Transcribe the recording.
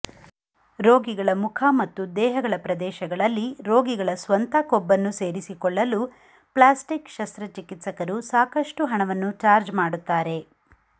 ರೋಗಿಗಳ ಮುಖ ಮತ್ತು ದೇಹಗಳ ಪ್ರದೇಶಗಳಲ್ಲಿ ರೋಗಿಗಳ ಸ್ವಂತ ಕೊಬ್ಬನ್ನು ಸೇರಿಸಿಕೊಳ್ಳಲು ಪ್ಲ್ಯಾಸ್ಟಿಕ್ ಶಸ್ತ್ರಚಿಕಿತ್ಸಕರು ಸಾಕಷ್ಟು ಹಣವನ್ನು ಚಾರ್ಜ್ ಮಾಡುತ್ತಾರೆ